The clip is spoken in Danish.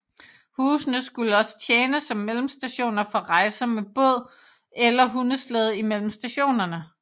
Husene skulle også tjene som mellemstationer for rejser med båd eller hundeslæde imellem stationerne